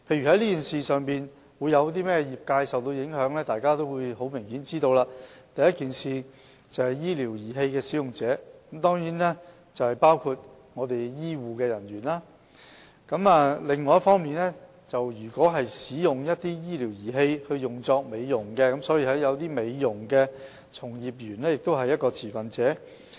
例如受這件事影響的持份者，很明顯，第一是醫療儀器使用者，當然包括醫護人員；另一方面，如果使用醫療儀器作美容用途，一些美容從業員也是持份者。